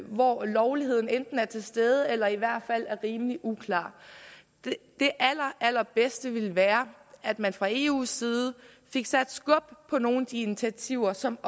hvor lovligheden enten er til stede eller i hvert fald er rimelig uklar det allerbedste ville være at man fra eus side fik sat skub i nogle af de initiativer som